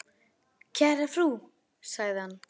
Kæra frú, sagði hann.